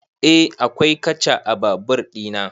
Eh akwai katcha a babur ɗina